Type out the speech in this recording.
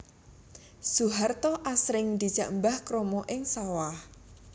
Soeharto asring dijak Mbah Kromo ing sawah